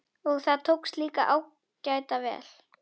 Og það tókst líka ágæta vel.